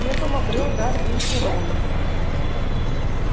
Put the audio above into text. первым обрёл дар речи рон